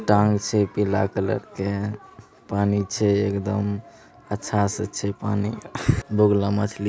टांग छे पिला कलर के पानी छे एक दम अच्छा से पानी बुग्ला मछली --